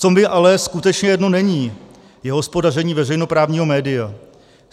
Co mi ale skutečně jedno není, je hospodaření veřejnoprávního média.